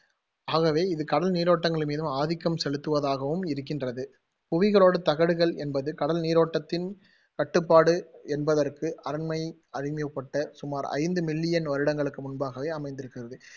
ஆகவே, இது கடல் நீரோட்டங்களின் மீதும் ஆதிக்கம் செலுத்துவதாகவும் இருக்கின்றது புவியோட்டுத் தகடுகள் என்பது கடல் நீரோட்டதின் கட்டுப்பாடு என்பதற்கு சுமார் ஐந்து million வருடங்களுக்கு முன்பாகவே அமைந்திருக்கிறது